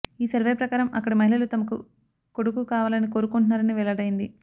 ఈ సర్వే ప్రకారం అక్కడి మహిళలు తమకు కొడుకు కావాలని కోరుకుంటున్నారని వెల్లడైంది